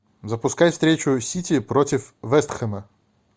запускай встречу сити против вест хэма